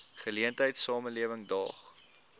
geleentheid samelewing daag